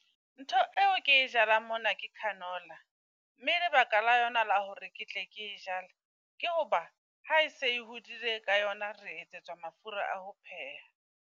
Ntho e o ke jalang mona ke canola. Mme lebaka la yona la hore ke tle ke e jale, ke ho ba ha e se e hodile ka yona re etsetswa mafura a ho pheha.